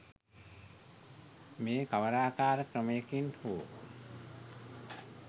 මේ කවරාකාර ක්‍රමයකින් හෝ